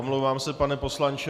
Omlouvám se, pan poslanče.